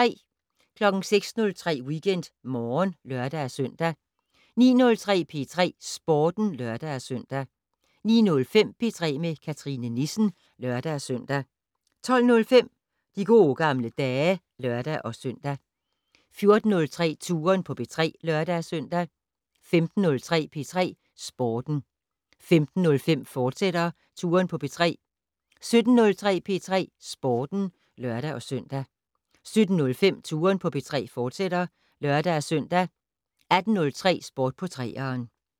06:03: WeekendMorgen (lør-søn) 09:03: P3 Sporten (lør-søn) 09:05: P3 med Cathrine Nissen (lør-søn) 12:05: De gode gamle dage (lør-søn) 14:03: Touren på P3 (lør-søn) 15:03: P3 Sporten 15:05: Touren på P3, fortsat 17:03: P3 Sporten (lør-søn) 17:05: Touren på P3, fortsat (lør-søn) 18:03: Sport på 3'eren